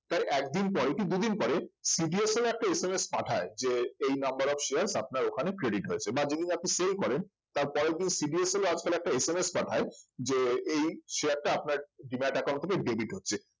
তার একদিন পরে কি দুদিন পরে CDSL একটা SMS পাঠায় যে এই number of share আপনার ওখানে credit হয়েছে বা যেদিন আপনি sell করেন তার পরের দিন CDSL ও আজকাল একটা SMS পাঠায় যে এই share টা আপনার demat account থেকে debit হচ্ছে